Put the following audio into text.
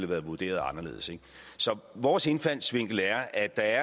været vurderet anderledes så vores indfaldsvinkel er at der